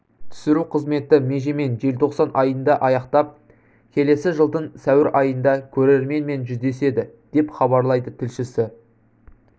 түсіру қызметі межемен желтоқсан айында аяқтап келесі жылдың сәуір айында көрерменмен жүздеседі деп хабарлайды тілшісі